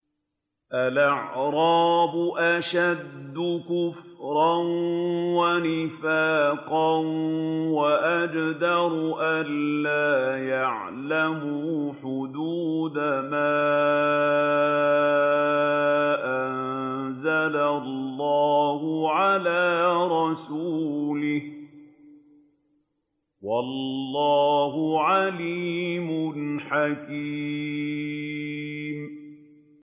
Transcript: الْأَعْرَابُ أَشَدُّ كُفْرًا وَنِفَاقًا وَأَجْدَرُ أَلَّا يَعْلَمُوا حُدُودَ مَا أَنزَلَ اللَّهُ عَلَىٰ رَسُولِهِ ۗ وَاللَّهُ عَلِيمٌ حَكِيمٌ